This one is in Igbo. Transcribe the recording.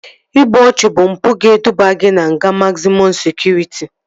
İgbu ọchụ bụ mpụ ga-eduba gị na nga mazịmọm sekụritị